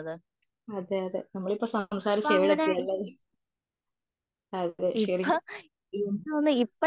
അതെയതെ നമ്മൾ സംസാരിച്ചു ഇപ്പോൾ എവിടെ എത്തിയല്ലേ? അതെ ശരിക്കിനും